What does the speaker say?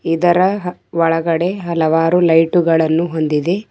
ಇದರ ಒಳಗಡೆ ಹಲವಾರು ಲೈಟುಗಳನ್ನು ಹೊಂದಿದೆ.